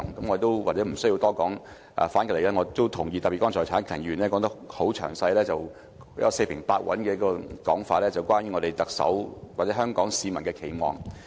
我對此或許不需要多說，反過來，我也同意這些說法，特別剛才陳克勤議員說得很詳細，四平八穩去提出關於特首或香港市民的期望。